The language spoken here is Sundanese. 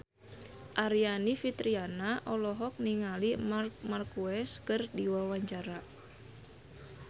Aryani Fitriana olohok ningali Marc Marquez keur diwawancara